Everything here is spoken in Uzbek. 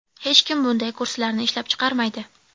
Hech kim bunday kursilarni ishlab chiqarmaydi.